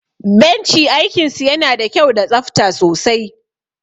Benchi aikin su yana da kyau da tsafta sosai